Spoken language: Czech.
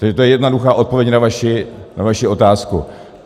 Takže to je jednoduchá odpověď na vaši otázku.